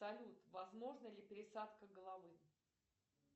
салют возможна ли пересадка головы